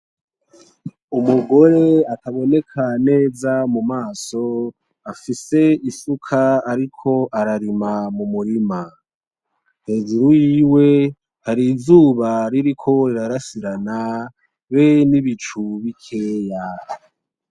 Umugore ataboneka neza mu maso afise isuka ariko ararima mu murima. Hejuru yiwe hari izuba ririko rirasirana be n'ibicu bikeya.